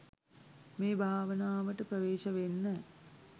මේ භාවනාවට ප්‍රවේශ වෙන්න